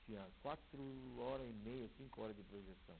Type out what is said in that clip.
Tinha quatro horas e meia, cinco horas de projeção.